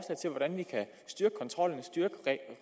styrke